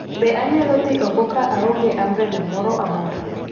Be anyalo dhi oko ka onge ambrele moro amora